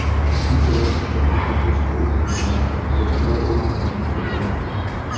Uchuvchilar katapulta qilishga ulgurgan, qutqaruvchilar ularni qidirmoqda.